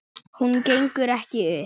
Hún gengur ekki upp.